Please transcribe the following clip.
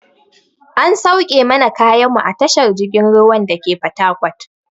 An sauke mana kayan mu a tashar jirgin ruwan dake fatakot.